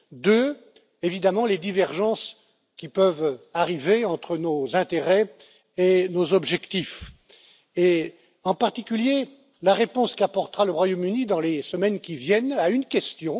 La deuxième chose évidemment, les divergences qui peuvent apparaître entre nos intérêts et nos objectifs, en particulier la réponse qu'apportera le Royaume Uni, dans les semaines qui viennent, à une question.